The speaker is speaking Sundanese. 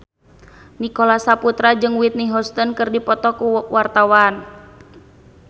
Nicholas Saputra jeung Whitney Houston keur dipoto ku wartawan